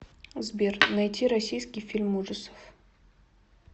сбер найти российский фильм ужасов